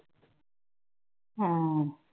ਹੂੰ